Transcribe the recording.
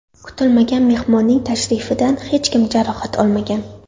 Kutilmagan mehmonning tashrifidan hech kim jarohat olmagan.